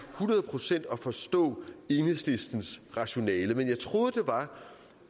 hundrede procent at forstå enhedslistens rationale men jeg troede